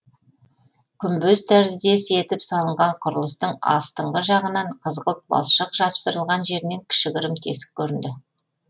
күмбез тәріздес етіп салынған құрылыстың астыңғы жағынан қызғылт балшық жапсырылған жерінен кішігірім тесік көрінді